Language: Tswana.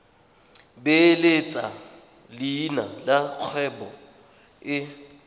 beeletsa leina la kgwebo e